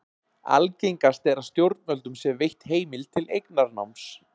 Algengast er að stjórnvöldum sé veitt heimild til eignarnáms.